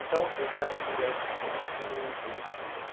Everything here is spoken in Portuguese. Então, ele é um universo muito elitista.